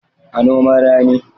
A noman rani